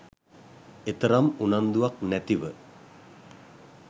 එතරම් උනන්දුවක් නැතිව